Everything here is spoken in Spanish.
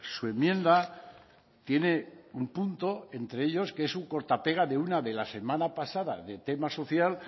su enmienda tiene un punto entre ellos que es un corta pega de una de la semana pasada de tema social